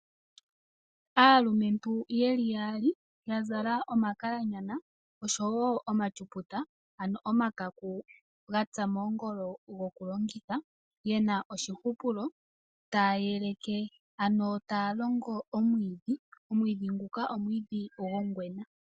Aalumentu yeli yaali yazala omakalanyana oshowo omatyuputa ano omakakuku gatsa moongolo gokulongitha yena oshihupulo taya yeleke ano taya longo omwiidhi . Omwiidhi nguka omwiidhi gwongwena.